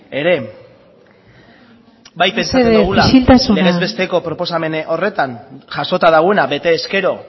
ere mesedez isiltasuna bai pentsatzen dugula legez besteko proposamen horretan jasota dagoena betez gero